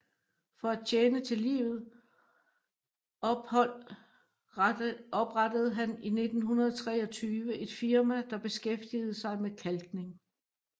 For at tjene til livet ophold oprettede han 1923 et firma der beskæftigede sig med kalkning